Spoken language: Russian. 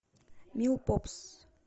мил попс